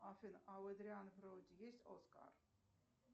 афина а у эдриана броуди есть оскар